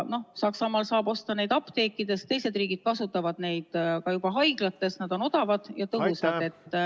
Saksamaal saab neid osta apteekidest, teised riigid kasutavad neid ka juba haiglates, nad on odavad ja tõhusad.